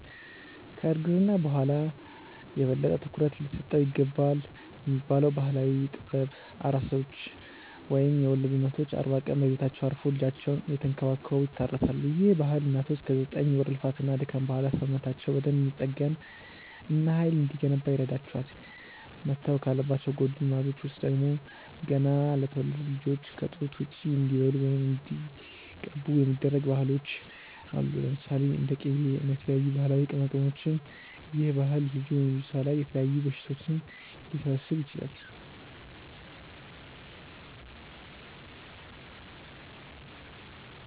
ከ እርግዝና በኋላ የበለጠ ትኩረት ሊሰጠው ይገባልብ የሚባለው ባህላዊ ጥበብ፤ ኣራሶች ወይም የወለዱ እናቶች አርባ ቀን በቤታቸው አርፈው ልጃቸውን እየተንከባከቡ ይታረሳሉ፤ ይህ ባህል እናቶች ከ ዘጠኝ ወር ልፋት እና ድካም በኋላ ሰውነታቸው በደንብ እንዲጠገን እና ሃይል እንዲገነባ ይረዳቸዋል። መተው ካለባቸው ጎጂ ልማዶች ውስጥ ደግሞ፤ ገና ለተወለዱት ልጆች ከ ጡት ውጪ እንዲበሉ ወይም እንዲቀቡ የሚደረጉ ባህሎች አሉ። ለምሳሌ፦ እንደ ቂቤ እና የተለያዩ ባህላዊ ቅመማቅመሞች ይህ ባህል ልጁ/ልጅቷ ላይ የተለያዩ በሽታዎች ሊሰበስብ ይችላል